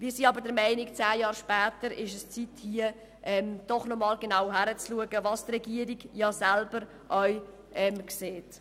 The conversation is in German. Wir sind aber der Meinung, dass es zehn Jahre später an der Zeit ist, noch einmal genauer hinzusehen, was die Regierung auch selber so sieht.